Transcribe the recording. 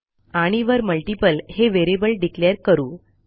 आणि वर मल्टीपल हे व्हेरिएबल डिक्लेअर करू